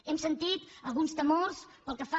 hem sentit alguns temors pel que fa